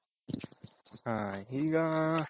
ಈಗ